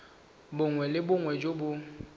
bongwe le bongwe jo bo